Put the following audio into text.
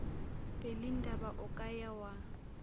pelindaba o ka ya wa